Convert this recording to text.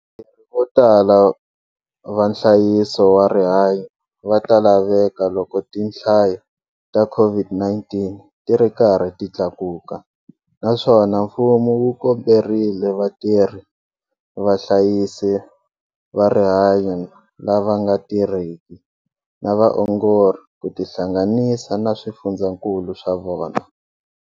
Vatirhi votala va nhlayiso wa rihanyo va ta laveka loko tihlayo ta COVID-19 ti ri karhi ti tlakuka naswona mfumo wu komberile vatirhi vahlayisi va rihanyo lava nga tirheki na vaongori ku tihlanganisa na swifundzakulu swa vona.